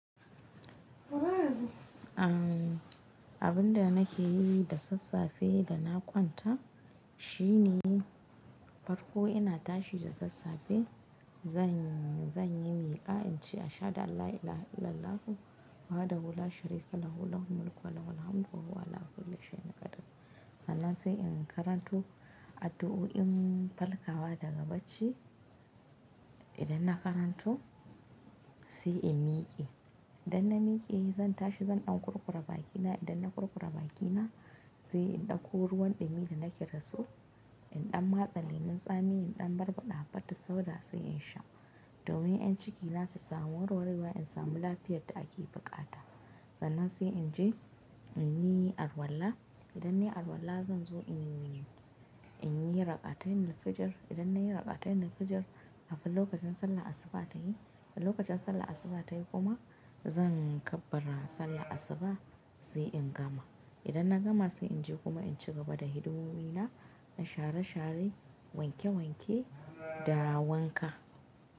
Abin da nake yi da sassafe da na kwanta shine farko ina tashi da sassafe zan, zan yi miƙa in ce "Ashadu alla ilaha illallah wahdahu la sharika lahul mulku wa lahul hamdu wa huwa 'ala kulli shayin qadir". Sannan sai in karanto addu'o'in farkawa daga bacci. Idan na karanto sai in miƙe. Idan na miƙe zan tashi zan ɗan kurkura bakina. Idan na kurkura bakina sai in ɗauko ruwan ɗumi da nake dasu. In ɗan matsa lemon tsami in ɗan barbaɗa Habbatus-sauda sai in sha. Domin 'yan ciki na su samu warwarewa in samu lafiyar da ake buƙata. Sannan sai in je in yi alwalla. Idan na yi alwalla zan zo in, in yi Rakatainil fijir. Idan na yi rakatainnil fijir kafin lokacin sallah asuba ta yi. Kafin lokacin sallar Asuba ta yi kuma zan kabbara Sallar Asuba sai in gama. Idan na gama sai in je kuma in ci gaba da hidimomi na. In share share, wanke wanke da wanka.